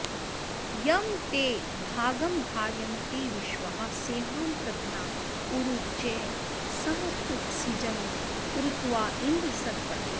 यं ते॑ भा॒गमधा॑रय॒न्विश्वाः॑ सेहा॒नः पृत॑ना उ॒रु ज्रयः॒ सम॑प्सु॒जिन्म॒रुत्वा॑ँ इन्द्र सत्पते